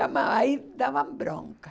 Aí dava bronca.